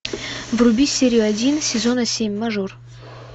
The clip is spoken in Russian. вруби серию один сезона семь мажор